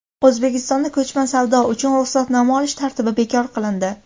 O‘zbekistonda ko‘chma savdo uchun ruxsatnoma olish tartibi bekor qilindi.